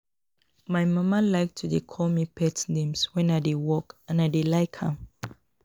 My mama like to dey call me pet names wen I dey work and I dey like am